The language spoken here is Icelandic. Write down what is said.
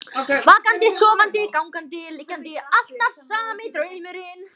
Vakandi, sofandi, gangandi, liggjandi, alltaf sami draumurinn.